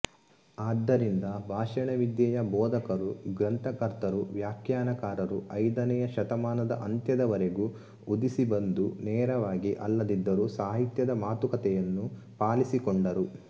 ಆದ್ದರಿಂದ ಭಾಷಣವಿದ್ಯೆಯ ಬೋಧಕರೂ ಗ್ರಂಥಕರ್ತರೂ ವ್ಯಾಖ್ಯಾನಕಾರರೂ ಐದನೆಯ ಶತಮಾನದ ಅಂತ್ಯದವರೆಗೂ ಉದಿಸಿಬಂದು ನೇರವಾಗಿ ಅಲ್ಲದಿದ್ದರೂ ಸಾಹಿತ್ಯದ ಮಾತುಕಥೆಯನ್ನು ಪಾಲಿಸಿಕೊಂಡರು